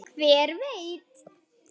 Hver veit